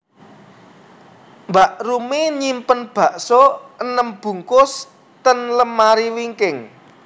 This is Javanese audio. Mbak Rumi nyimpen bakso enem bungkus ten lemari wingking